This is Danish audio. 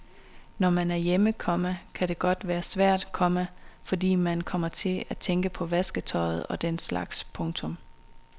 Når man er hjemme, komma kan det godt være svært, komma fordi man uvægerligt kommer til at tænke på vasketøjet og den slags. punktum